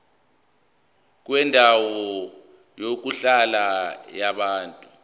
kwendawo yokuhlala yabantu